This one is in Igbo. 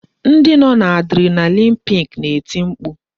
Ndị nọ n'adrenaline peak na-eti mkpu